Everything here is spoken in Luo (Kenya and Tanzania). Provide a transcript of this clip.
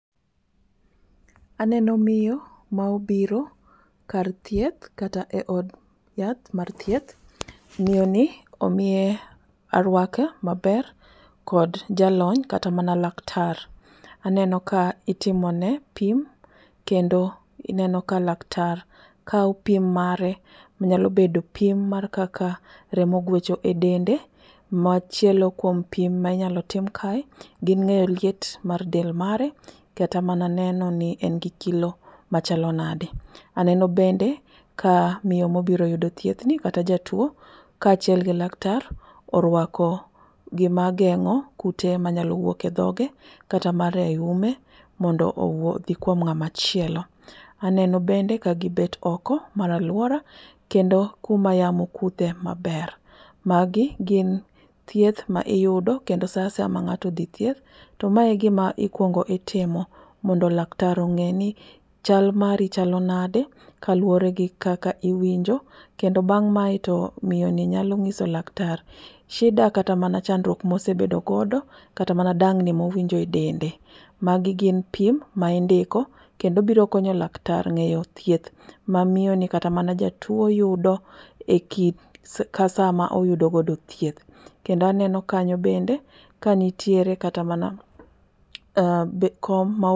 Aneno miyo maobiro kar thieth kata eod yath mar thieth. Miyoni omiye aruaka maber kod jalony kata mana laktar. Aneno ka itimone pim kendo aneno ka laktar kawo pim mare, nyalo bedo pim kaka remo gwecho e dende machielo kuom pim minyalo tim kae, gi ng'eyo liet mar del mare, kata mana neno ni en gi kilo machalo nade. Aneno bende ka miyo ma obiro yudo thiethni kata jatuo kaachiel gi laktar oruako gima geng'o kute manyalo wuok e dhoge kata mana eume mondo owuogi kuom ng'ama chielo. Aneno bende kagibet oko mar aluora kendo kuma yamo kudhe maber. Magi gin thieth ma iyudo kendo saa asaya ma ng'ato dhi thieth to mae e gima ikuongo itimo mondo laktar ong'eni chal mari chalo nadi kaluwore gi kaka iwinjo kendo bang' mae to miyoni nyalo nyiso laktar shida kata mana chandruok ma osebedo godo kata mana dang ni ma en go edel. Magi gin pim ma indiko kendo biro konyo laktar ng'eyo thieth ma miyoni kata mana jatuo yudo ekit kata sama oyudo godo thieth. Kendo aneno kanyo bende kanitiere kata mana kom ma